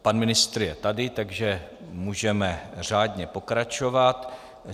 Pan ministr je tady, takže můžeme řádně pokračovat.